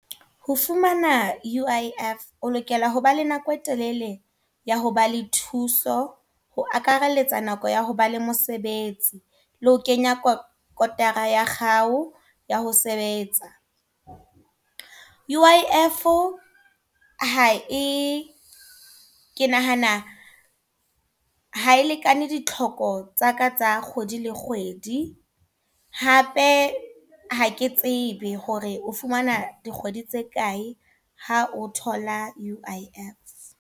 Ho fumana U_I_F, o lokela hoba le nako e telele ya ho ba le thuso. Ho akaraletsa nako ya ho ba le mosebetsi. Le ho kenya kotara ya hao, ya ho sebetsa. U_I_F ha e, ke nahana ha e lekane ditlhoko tsaka tsa kgwedi le kgwedi. Hape ha ke tsebe hore o fumana dikgwedi tse kae ha o thola U_I_F.